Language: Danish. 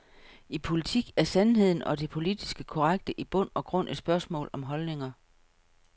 I politik er sandheden, og det politisk korrekte, i bund og grund et spørgsmål om holdninger.